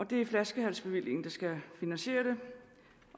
det er flaskehalsbevillingen der skal finansiere det